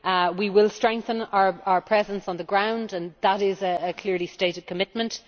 We will strengthen our presence on the ground, and that is a clearly stated commitment.